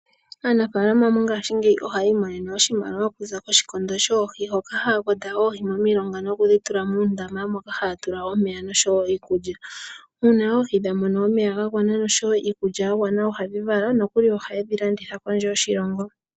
Aanafaalama mongaashingeyi ohayi imonene oshimaliwa okuza moshikondo shoohi. Ohaya kwata oohi momilongo nokudhitula muundama moka haya tula omeya nosho woo iikulya. Uuna oohi dhili momeya gagwana noku pewa iikulya yagwana ohadhi indjipala mbala nohaye dhi landitha po meni nokondje yoshilongo.